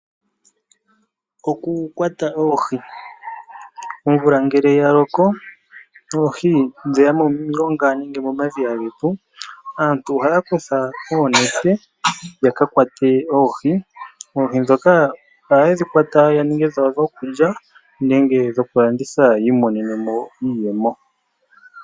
Oku kwata Oohi, omvula ngele ya loko nOohi dheya momilonga nenge mo madhiya getu aantu ohaya kutha oonete ya ka kwate Oohi. Oohi dhoka oha yedhi kwata ya ninge dhawo dho kulya nenge dho ku landitha yi imonene mo iiyemo